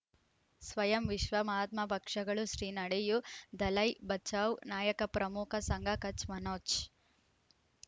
ಸ್ವಯಂ ವಿಶ್ವ ಮಹಾತ್ಮ ಪಕ್ಷಗಳು ಶ್ರೀ ನಡೆಯೂ ದಲೈ ಬಚೌ ನಾಯಕ ಪ್ರಮುಖ ಸಂಘ ಕಚ್ ಮನೋಜ್